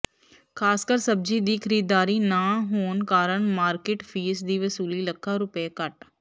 ਖਾਸਕਰ ਸਬਜੀ ਦੀ ਖਰੀਦਦਾਰੀ ਨਾ ਹੋਣ ਕਾਰਨ ਮਾਰਕੀਟ ਫੀਸ ਦੀ ਵਸੂਲੀ ਲੱਖਾਂ ਰੁਪਏ ਘਟ